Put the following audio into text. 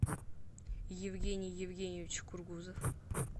евгений евгеньевич кургузов